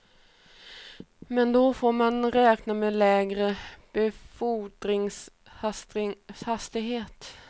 Men då får man räkna med lägre befordringshastighet.